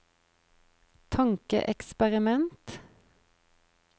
tankeeksperiment